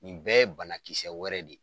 Nin bɛɛ ye banakisɛ wɛrɛ de .